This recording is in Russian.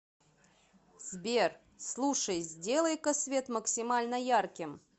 сбер слушай сделай ка свет максимально ярким